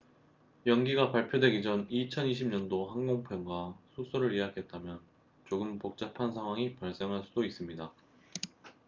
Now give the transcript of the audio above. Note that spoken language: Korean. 연기가 발표되기 전 2020년도 항공편과 숙소를 예약했다면 조금 복잡한 상황이 발생할 수 도 있습니다